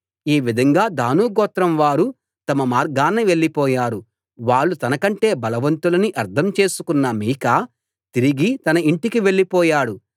ఈ విధంగా దాను గోత్రం వారు తమ మార్గాన వెళ్ళిపోయారు వాళ్ళు తన కంటే బలవంతులని అర్థం చేసుకున్న మీకా తిరిగి తన ఇంటికి వెళ్ళిపోయాడు